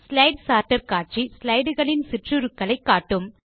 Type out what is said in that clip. slide sorter காட்சி slide களின் சிற்றுருக்களை காட்டும்